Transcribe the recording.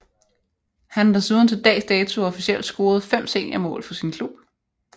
Han har desuden til dags dato officielt scoret 5 senior mål for sin klub